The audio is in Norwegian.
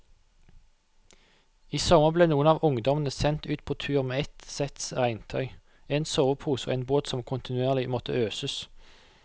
I sommer ble noen av ungdommene sendt ut på tur med ett sett regntøy, en sovepose og en båt som kontinuerlig måtte øses.